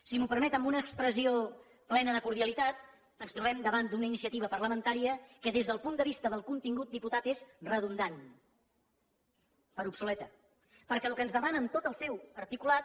si m’ho permet amb una expressió plena de cordialitat ens trobem davant d’una iniciativa parlamentària que des del punt de vista del contingut diputat és redundant per obsoleta perquè el que ens demana en tot el seu articulat